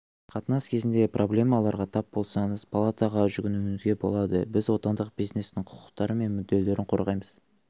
қатынас кезінде проблемаларға тап болсаңыз палатаға жүгінуіңізге болады біз отандық бизнестің құқықтары мен мүдделерін қорғаймыз